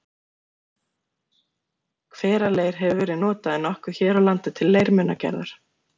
hveraleir hefur verið notaður nokkuð hér á landi til leirmunagerðar